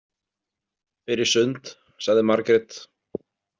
Fer í sund, sagði Margrét.